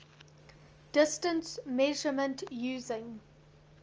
distance measurement using